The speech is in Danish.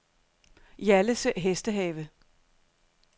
Hjallese Hestehave